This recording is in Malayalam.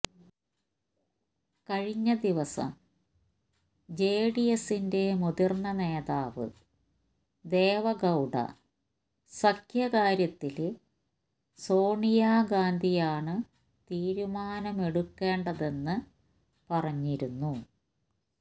കഴിഞ്ഞ ദിവസം ജെഡിഎസിന്റെ മുതിര്ന്ന നേതാവ് ദേവഗൌഡ സഖ്യകാര്യത്തില് സോണിയ ഗാന്ധിയാണ് തീരുമാനമെടുക്കേണ്ടതെന്ന് പറഞ്ഞിരുന്നു